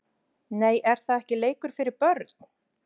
Nei er það ekki leikur fyrir börn????????